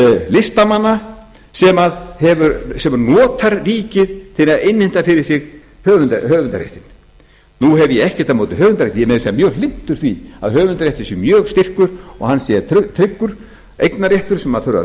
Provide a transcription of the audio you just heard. listamanna sem notar ríkið til að innheimta fyrir sig höfundarréttinn nú hef ég ekkert á móti höfundarrétti ég er meira að segja mjög hlynntur því að höfundarréttur sé mjög styrkur og hann sé tryggur eignarréttur sem þurfi að vera